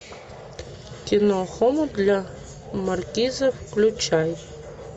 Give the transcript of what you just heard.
кино хомут для маркиза включай